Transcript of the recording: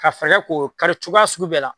Ka fanga k'o kari cogoya sugu bɛɛ la